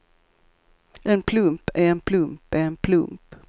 En plump är en plump är en plump.